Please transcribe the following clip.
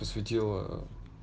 посветила ээ